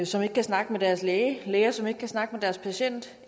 som ikke kan snakke med deres læge læger som ikke kan snakke med deres patient